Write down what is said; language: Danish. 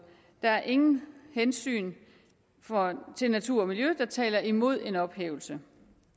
der er ingen hensyn til natur og miljø der taler imod en ophævelse